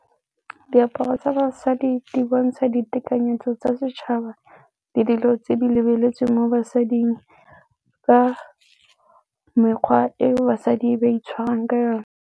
Diaparo tsa basadi di bontsha ditekanyetso tsa setšhaba le dilo tse di lebeletsweng mo basading ka mekgwa eo basadi ba itshwarang ka yone.